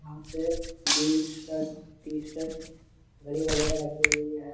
वहां पे jeans shirt T-shirt घड़ी वगेरा रखी हुई है।